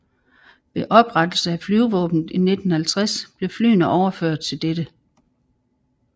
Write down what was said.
Ved oprettelsen af Flyvevåbnet i 1950 blev flyene overført til dette